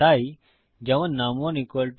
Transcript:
তাই যেমন নুম1 1